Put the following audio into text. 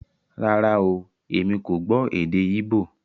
Rárá oooo, èmi kò gbó èdè íbò